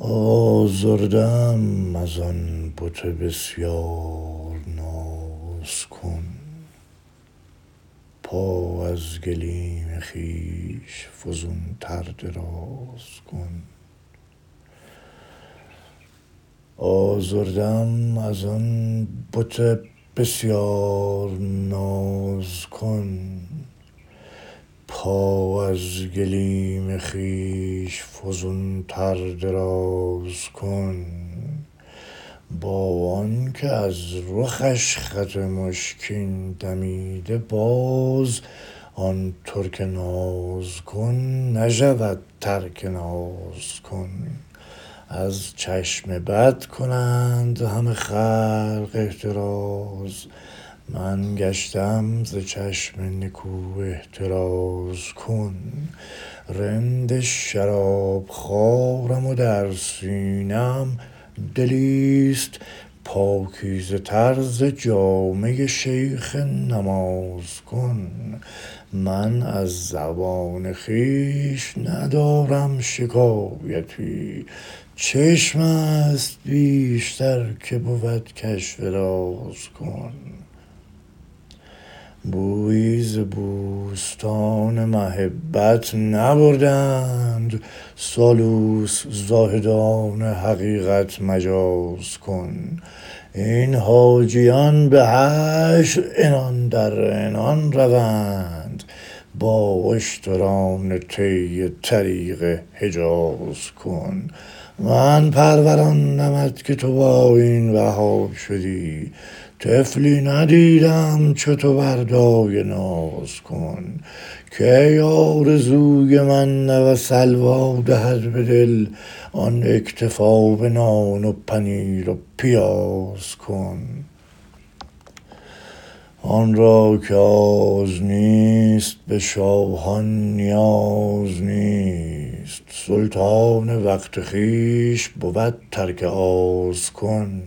آزرده ام از آن بت بسیار ناز کن پا از گلیم خویش فزون تر دراز کن با آن که از رخش خط مشکین دمیده باز آن ترک ناز کن نشود ترک ناز کن از چشم بد کنند همه خلق احتراز من گشته ام ز چشم نکو احتراز کن رند شراب خوارم و در سینه ام دلی ست پاکیزه تر ز جامه شیخ نماز کن من از زبان خویش ندارم شکایتی چشم است بیشتر که بود کشف راز کن بویی ز بوستان محبت نبرده اند سالوس زاهدان حقیقت مجاز کن این حاجیان به حشر عنان در عنان روند با اشتران طی طریق حجاز کن من پروراندمت که تو با این بها شدی طفلی ندیده ام چو تو بر دایه ناز کن کی آرزوی سلوی و من ره دهد به دل آن اکتفا به نان و پنیر و پیاز کن آن را که آز نیست به شاهان نیاز نیست سلطان وقت خویش بود ترک آز کن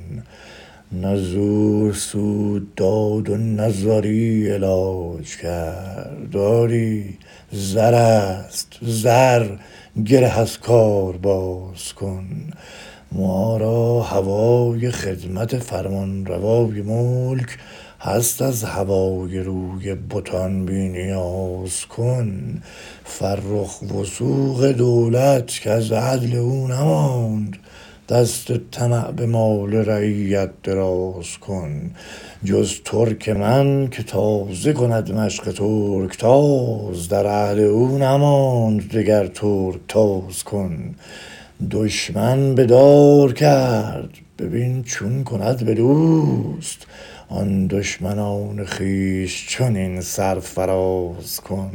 نه زور سود داد و نه زاری علاج کرد آری زرست زر گره از کار باز کن ما را هوای خدمت فرمانروای ملک هست از هوای روی بتان بی نیاز کن فرخ وثوق دولت کز عدل او نماند دست طمع به مال رعیت دراز کن جز ترک من که تازه کند مشق ترکتاز در عهد او نماند دگر ترکتاز کن دشمن به دار کرد ببین چون کند به دوست آن دشمنان خویش چنین سرفراز کن